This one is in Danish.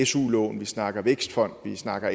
su lån vi snakker vækstfond vi snakker